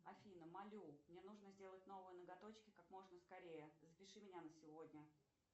афина молю мне нужно сделать новые ноготочки как можно скорее запиши меня на сегодня